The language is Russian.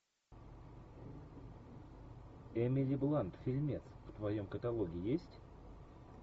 эмили блант фильмец в твоем каталоге есть